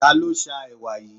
Ta ló sá ẹwà yìí?